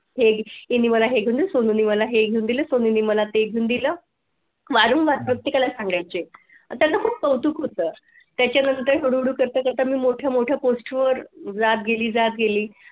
हिने मला हे घेऊन दिल. सोनुने मला हे घेऊन दिल. सोनुने मला ते घेऊन दिल. वारंवार प्रत्येकाला सांगायचे. त्यांना खूप कौतुक होतं. त्याच्यानंतर हुडुहुडु करता करता मी मोठ्या मोठ्या पोस्टवर जात गेली जात गेली.